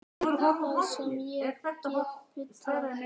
Það sem ég get bullað.